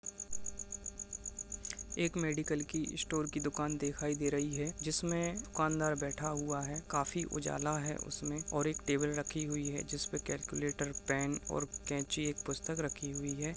एक मेडिकल की स्टोर की दुकान दिखाई दे रही है जिसमे दुकानदार बैठा हुआ है काफी उजाला है उसमे और एक टेबल रखी हुई है जिसपे कैलक्यूलेटर पेन और केची एक पुस्तक रखी हुई है।